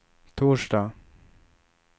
torsdag